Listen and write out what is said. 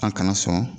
An kana sɔn